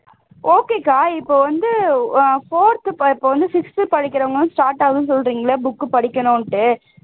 okay க்கா இப்போ வந்து fourth sixth படிக்கிறவங்க start ஆகுதுன்னு சொல்றீங்களே book படிக்கனுன்ட்டு